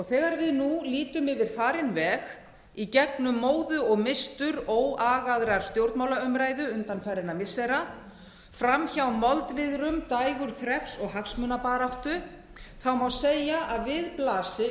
þegar við nú lítum yfir farinn veg í gegnum móðu og mistur óagaðrar stjórnmálaumræðu undanfarinna missira fram hjá moldviðrum dægurþrefs og hagsmunabaráttu má segja að við blasi